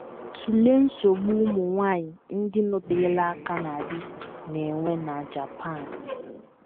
Tụlee nsogbu ụmụ nwanyị ndị nọterela aka na di na - enwe na Japan.